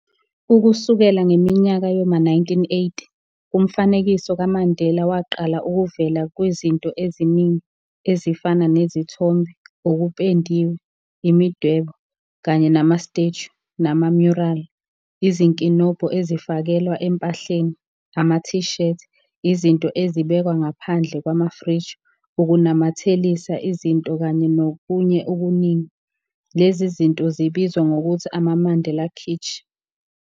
Ukusukela ngeminyaka yoma 1980 umfanekiso kaMandela waqala ukuvela kwizinto eziningi, ezifana nezithombe, okupendiwe, imidwebo, kanye nama-statue, nama-mural, izinkinobho ezifakelwa empahleni, ama-t shirt, izinto ezibekwa ngaphandle kwamafriji ukunamathelisa izinto kanye nokunye okuningi, lezi zinto zibizwa ngokuthi ama-"Mandela kitsch".